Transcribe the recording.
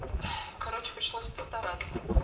короче пришлось постараться